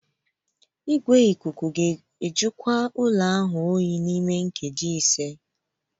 Igwe ikuku ga-ajụkwa ụlọ ahụ n'ime nkeji ise